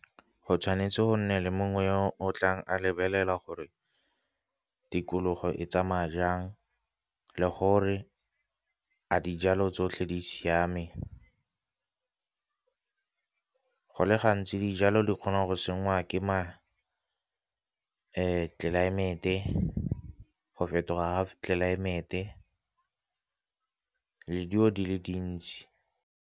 Go tshwanetse go nne le mongwe yo o tlang a lebelela gore tikologo e tsamaya jang, le gore a dijalo tsotlhe di siame. Go le gantsi dijalo di kgonang go sengwa tlelaemete, go fetoga ga tlelaemete le dilo di le dintsi.